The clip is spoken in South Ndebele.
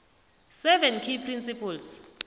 seven key principles